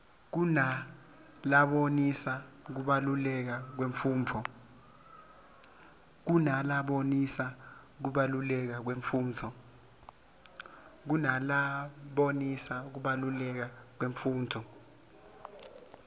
kunalabonisa kubaluleka kwemfundvo